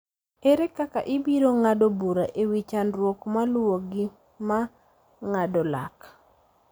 Ere kaka ibiro ng�ado bura e wi chandruok maluwogi ma ng�ado lak?